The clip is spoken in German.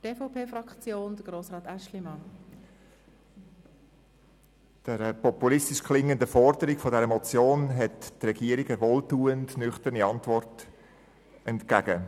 Der populistisch klingenden Forderung dieser Motion hält die Regierung eine wohltuend nüchterne Antwort entgegen.